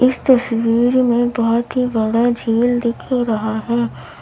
इस तस्वीर में बहोत ही बड़ा झील दिख रहा है।